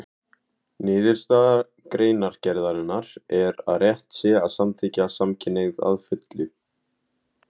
Niðurstaða greinargerðarinnar er að rétt sé að samþykkja samkynhneigð að fullu.